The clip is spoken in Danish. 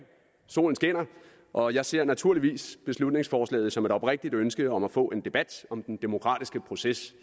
solen skinner og jeg ser naturligvis beslutningsforslaget som et oprigtigt ønske om at få en debat om den demokratiske proces